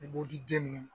Buguriden ninnu